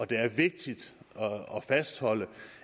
det er vigtigt at fastholde